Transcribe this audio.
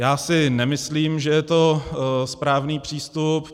Já si nemyslím, že je to správný přístup.